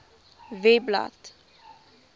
webblad